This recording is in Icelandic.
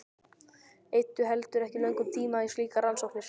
Eyddu heldur ekki löngum tíma í slíkar rannsóknir.